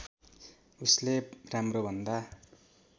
उसले राम्रो भन्दा